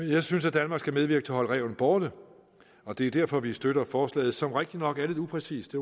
det jeg synes at danmark skal medvirke til at holde ræven borte og det er derfor vi støtter forslaget som rigtignok er lidt upræcist